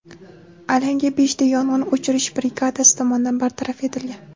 Alanga beshta yong‘in o‘chirish brigadasi tomonidan bartaraf etilgan.